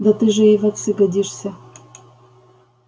да ты же ей в отцы годишься